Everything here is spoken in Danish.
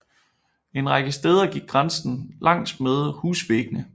En række steder gik grænsen langsmed husvæggene